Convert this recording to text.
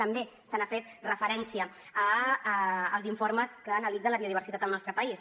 també se n’ha fet referència als informes que analitzen la biodiversitat al nostre país